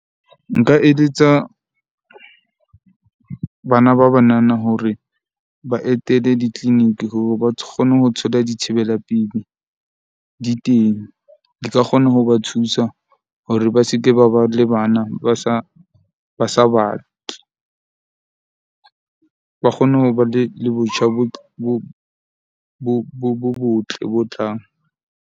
Nka eletsa bana ba banana hore ba etele di-clinic hore ba kgone ho thola dithibelapelei di teng. Di ka kgona ho ba thusa hore ba se ke ba ba le bana ba sa ba sa batle. Ba kgone ho ba le le botjha bo bo bo botle, bo tlang.